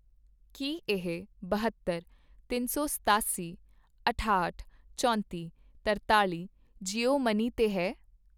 ਕੀ ਇਹ ਬਹੱਤਰ, ਤਿੰਨ ਸੌ ਸਤਾਸੀ, ਅਠਾਹਠ, ਚੌਂਤੀ, ਤਰਤਾਲ਼ੀ ਜੀਓ ਮਨੀ 'ਤੇ ਹੈ ?